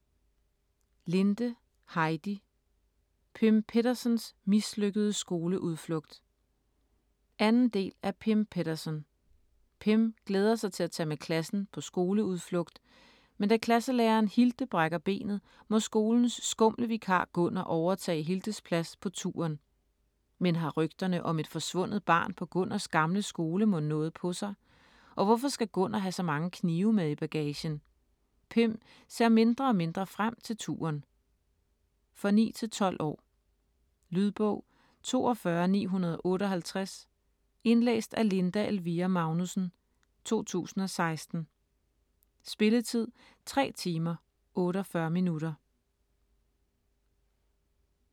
Linde, Heidi: Pym Pettersons mislykkede skoleudflugt 2. del af Pym Petterson. Pym glæder sig til at tage med klassen på skoleudflugt, men da klasselæreren Hilde brækker benet må skolens skumle vikar Gunnar overtage Hildes plads på turen. Men har rygterne om et forsvundet barn på Gunnars gamle skole mon noget på sig? Og hvorfor skal Gunnar have så mange knive med i bagagen? Pym ser mindre og mindre frem til turen. For 9-12 år. Lydbog 42958 Indlæst af Linda Elvira Magnussen, 2016. Spilletid: 3 timer, 48 minutter.